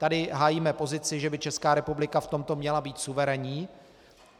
Tady hájíme pozici, že by Česká republika v tomto měla být suverénní.